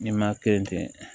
N'i ma kɛ yen ten